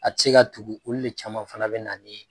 A ti se ka tugu olu de caman fana be na ni